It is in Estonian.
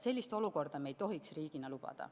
Sellist olukorda me ei tohiks riigina lubada.